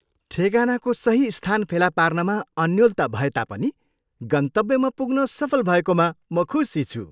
ठेगानाको सही स्थान फेला पार्नमा अन्योलता भएता पनि, गन्तव्यमा पुग्न सफल भएकोमा म खुसी छु।